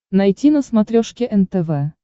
найти на смотрешке нтв